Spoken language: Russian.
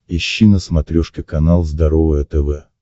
ищи на смотрешке канал здоровое тв